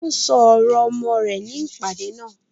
Wọ́n ṣọ ọ̀rọ̀ ọmọ rẹ̀ ní ìpàdé náà.